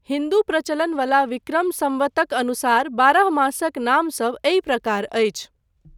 हिन्दू प्रचलन वला विक्रम सम्वतक अनुसार बारह मासक नामसभ एहि प्रकार अछि।